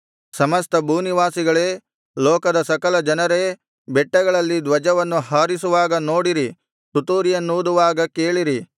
ಸಮಸ್ತ ಭೂನಿವಾಸಿಗಳೇ ಲೋಕದ ಸಕಲ ಜನರೇ ಬೆಟ್ಟಗಳಲ್ಲಿ ಧ್ವಜವನ್ನು ಹಾರಿಸುವಾಗ ನೋಡಿರಿ ತುತ್ತೂರಿಯನ್ನೂದುವಾಗ ಕೇಳಿರಿ